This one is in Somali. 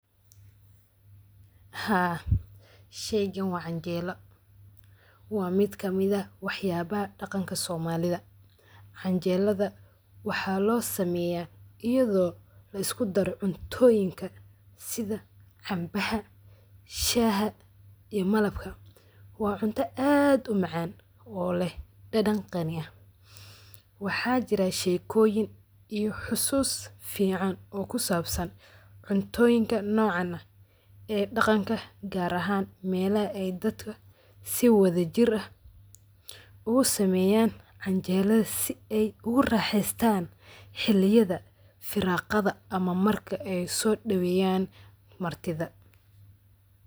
Haa, sheygan waa canjeelo, waa mid kamid eh waxyaba dhaqanka somalida. canjelada waxaa loo sameeya iyado lisku daaro cuntoyinka sida cambaha, shaha iyo malabka waa cunto aad u macaan oo leh dhadhan qani ah. Waxaa jira sheekoyin iyo xusuus fican oo kusabsan cuntooyinka nocan ah dhaqanka gar ahan melaha ay dadka si wadajir ah ogu sameeyan canjelada si ay ogu raxeystan xiliyada firaqada ama marki ay raban in ay soo dhaweyan martida